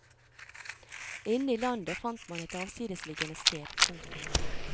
Inne i landet fant man et avsidesliggende sted. punktum